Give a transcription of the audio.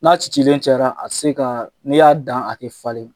N'a cilen caya a tɛ se ka n'i y'a dan a tɛ falen.